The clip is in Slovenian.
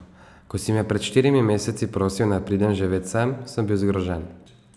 Ko si me pred štirimi meseci prosil, naj pridem živet sem, sem bil zgrožen.